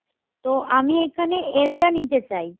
তো আমি এইখানে L টা নিতে চাই